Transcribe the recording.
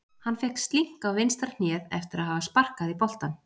Hann fékk slink á vinstra hnéð eftir að hafa sparkað í boltann.